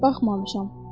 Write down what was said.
Baxmamışam.